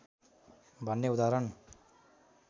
भन्ने उदाहरण